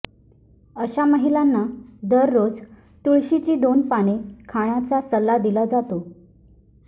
अशा महिलांना दररोज तुळशीची दोन पाने खाण्याचा सल्ला दिला जातो